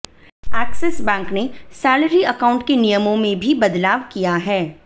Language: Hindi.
एक्सिस बैंक ने सैलरी अकाउंट के नियमों में भी बदलाव किया है